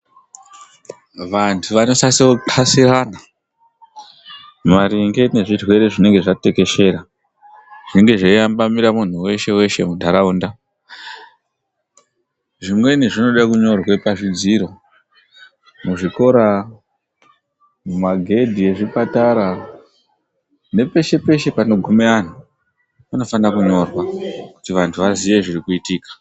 Vantu vanosasopasirana, maringe nezvirwere zvinenge zvatekeshera. Zvinenge zveivambamira muntu weshe weshe muntaraunda. Zvimweni zvinoda kunyorwa pachidziro, muzvikora, magedhe ezvipatara, nepeshe peshe panogume anhu panofanire kunyorwa kuti vantu vaziye zviri kuitika.